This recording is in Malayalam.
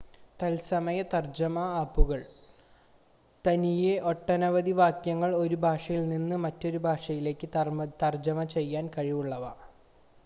തത്സമയ തർജ്ജമ ആപ്പുകൾ തനിയെ ഒട്ടനവധി വാക്യങ്ങൾ ഒരു ഭാഷയിൽ നിന്ന് മറ്റൊരു ഭാഷയിലേക്ക് തർജ്ജമ ചെയ്യാൻ കഴിവുള്ളവ